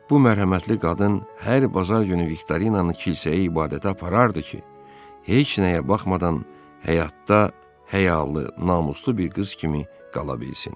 Bu mərhəmətli qadın hər bazar günü Viktorinanı kilsəyə ibadətə aparırdı ki, heç nəyə baxmadan həyatda həyalı, namuslu bir qız kimi qala bilsin.